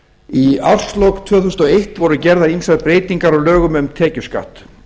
í árslok tvö þúsund og eitt voru gerðar ýmsar breytingar á lögum um tekjuskatt